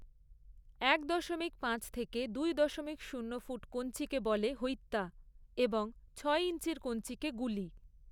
এক দশমিক পাঁচ থেকে দুই দশমিক শূন্য ফুট কঞ্চিকে বলে হৈত্তা এবং ছয় ইঞ্চির কঞ্চিকে গুলি।